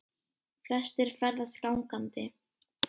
Flestir ferðist gangandi